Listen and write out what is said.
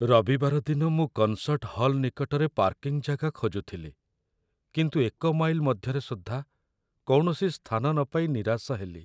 ରବିବାର ଦିନ ମୁଁ କନସର୍ଟ ହଲ୍ ନିକଟରେ ପାର୍କିଂ ଜାଗା ଖୋଜୁଥିଲି, କିନ୍ତୁ ଏକ ମାଇଲ୍ ମଧ୍ୟରେ ସୁଦ୍ଧା କୌଣସି ସ୍ଥାନ ନ ପାଇ ନିରାଶ ହେଲି।